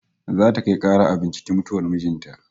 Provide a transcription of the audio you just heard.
Za ta kai kara a binciki mutuwar mijin ta